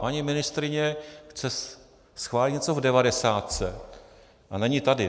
Paní ministryně chce schválit něco v devadesátce a není tady.